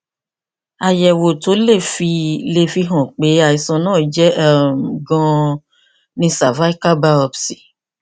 àyẹwò tó lè fi lè fi hàn pé àìsàn náà jẹ um ganan ni cervical biopsy